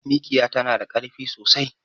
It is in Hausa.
Mikiya tana da karfi sosai